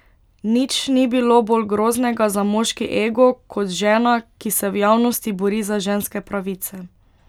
Nič ni bilo bolj groznega za moški ego kot žena, ki se v javnosti bori za ženske pravice.